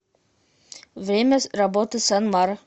время работы санмар